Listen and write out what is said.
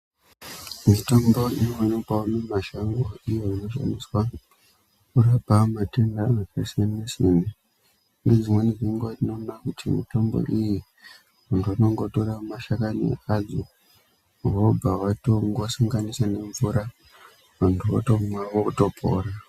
Mitombo inowanikwa mumashango iyo Inoahoshandiswa kurapa matenda akasiyana siyana mitombo iyi muntu ukongotira mashakani adzo vobva vatongosunganisa vantu votomwa votopora.